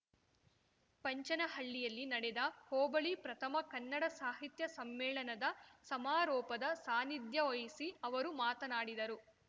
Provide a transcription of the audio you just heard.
ಪಂಚನಹಳ್ಳಿಯಲ್ಲಿ ನಡೆದ ಹೋಬಳಿ ಪ್ರಥಮ ಕನ್ನಡ ಸಾಹಿತ್ಯ ಸಮ್ಮೇಳನದ ಸಮಾರೋಪದ ಸಾನ್ನಿಧ್ಯ ವಹಿಸಿ ಅವರು ಮಾತನಾಡಿದರು